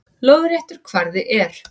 Lóðréttur kvarði er